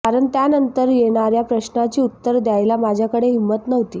कारण त्यानंतर येणर्या प्रश्नाची उत्तर देयाला माझ्याकडे हिंम्मत नव्हती